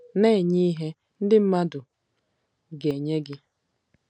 Na-enye ihe, ndị mmadụ ga-enye gị